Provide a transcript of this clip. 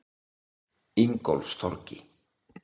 Ingólfstorgi